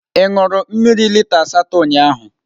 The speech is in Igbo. Ị ṅụrụ mmiri lita asatọ ụnyahụ?